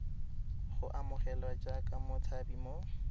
go amogelwa jaaka motshabi mo